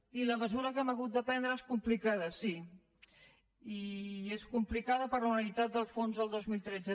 i la mesura que hem hagut de prendre és complicada sí i és complicada per una realitat del fons del dos mil tretze